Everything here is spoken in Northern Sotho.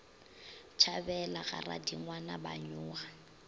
tšhabela ga radingwana ba nyoga